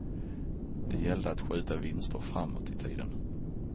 Det gällde att skjuta vinster framåt i tiden.